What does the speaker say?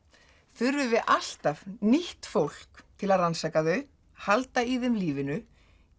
þurfum við alltaf nýtt fólk til að rannsaka þau halda í þeim lífinu